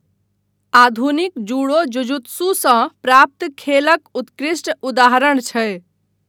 आधुनिक जूडो जुजुत्सुसँ प्राप्त खेलक उत्कृष्ट उदाहरण छै।